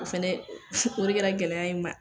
O fɛnɛ o de kɛra gɛlɛya ye ma.